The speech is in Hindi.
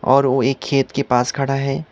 और वो एक खेत के पास खड़ा है।